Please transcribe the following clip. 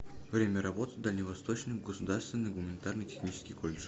время работы дальневосточный государственный гуманитарно технический колледж